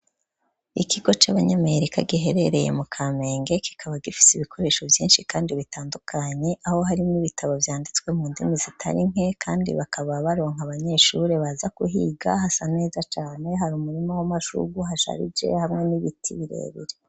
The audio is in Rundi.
Ikigo c'abanyamerika giherereye mu kamenge kikaba gifise ibikoresho byinshi kandi bitandukanye aho harimo ibitabo vyanditswe mu ndimi zitarinke kandi bakaba baronka abanyeshure baza guhiga hasa neza cane hari umurima w'amashugwe uhasharije hamwe n'ibiti birebire.